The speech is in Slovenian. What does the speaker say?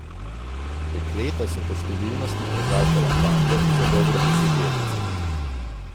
Dekleta so po številnosti prekašala fante za dobro deseterico.